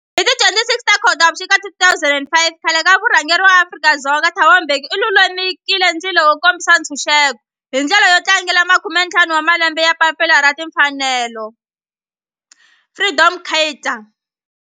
Hi ti 26 Khotavuxika 2005 khale ka murhangeri wa Afrika-Dzonga Thabo Mbeki u lumekile ndzilo wo kombisa ntshuxeko, hi ndlela yo tlangela makumentlhanu wa malembe ya papila ra timfanelo Freedom Charter.